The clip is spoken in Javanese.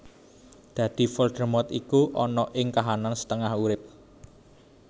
Dadi Voldemort iku ana ing kahanan setengah urip